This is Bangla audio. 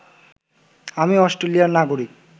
আমি অষ্ট্রেলিয়ার নাগরিক